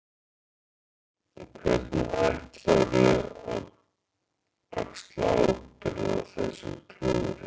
Hvernig ætlarðu að axla ábyrgð á þessu klúðri?